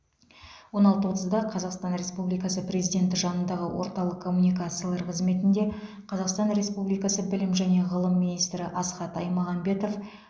он алты отызда қазақстан республикасы президенті жанындағы орталық коммуникациялар қызметінде қазақстан республикасы білім және ғылым министрі асхат аймағамбетов